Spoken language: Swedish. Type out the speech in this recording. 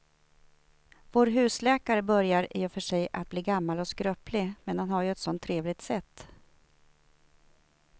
Vår husläkare börjar i och för sig bli gammal och skröplig, men han har ju ett sådant trevligt sätt!